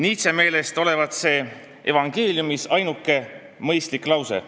Nietzsche meelest olevat see evangeeliumis ainuke mõistlik lause.